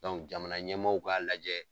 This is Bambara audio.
jamana ɲɛmaaw k'a lajɛ.